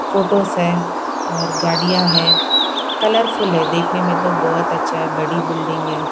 Photos हैऔर गाड़ियां है कलरफुल है देखने में तो बहुत अच्छा है बड़ी बिल्डिंग है।